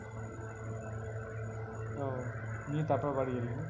ওহ নিয়ে তারপরে বাড়ি গেলি নাকি?